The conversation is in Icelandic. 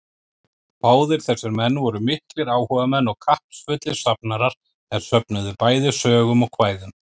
Báðir þessir menn voru miklir áhugamenn og kappsfullir safnarar, er söfnuðu bæði sögum og kvæðum.